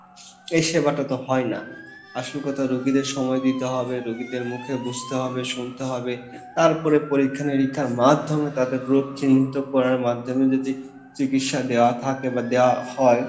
এই সেবা টা তো হয়না, আসল কথা রুগীদের সময় দিতে হবে রুগীদের মুখে বুঝতে হবে শুনতে হবে তারপরে পরীক্ষা নিরীক্ষার মাধ্যম তাদের রোগ চিহ্নিত করার মাধ্যম যদি চিকিৎসা দেওয়া থাকে বা দেওয়া হয়